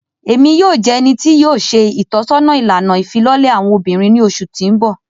Emi yoo jẹ ẹni ti yoo ṣe itọsọna ilana ifilọlẹ awọn obinrin ni oṣu ti n bọ.